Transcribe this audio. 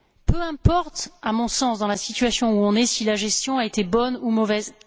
Peu importe, à mon sens, dans la situation où on est, si la gestion a été bonne ou mauvaise.